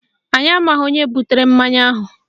Anyị amaghị onye butere mmanya ahụ